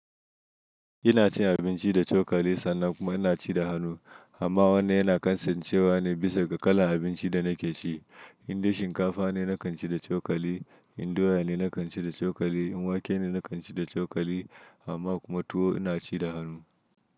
Ina cin abinci da cokali sannan kuma ina ci da hannu. Amma wanda yana kansancewa ne bisa ga kalan abincin da nake ci. In dai shinkafa ne, na kan ci da cokali. In doya ne, na kan ci da cokali. In wake ne, na kan ci da cokali. Amma kuma tuwo ina ci da hannu.